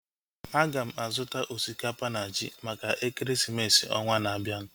Aga m azuta osikapa na ji maka ekeresimesi ọnwaa na-abianu